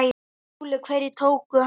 SKÚLI: Hverjir tóku hann?